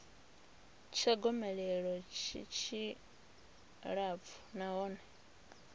tsha gomelelo tshi tshilapfu nahone